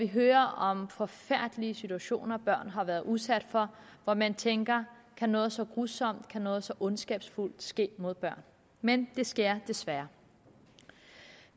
hører om forfærdelige situationer børn har været udsat for hvor man tænker kan noget så grusomt noget så ondskabsfuldt ske mod børn men det sker desværre